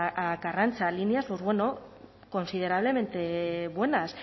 a carranza líneas pues bueno considerablemente buenas